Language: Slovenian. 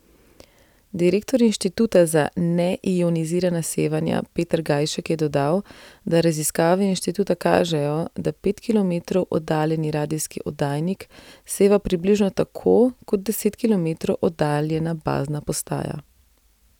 Direktor Inštituta za neionizirana sevanja Peter Gajšek je dodal, da raziskave inštituta kažejo, da pet kilometrov oddaljeni radijski oddajnik seva približno tako, kot deset kilometrov oddaljena bazna postaja.